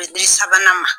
U bɛ di sabanan ma